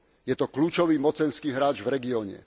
Je to kľúčový mocenský hráč v regióne.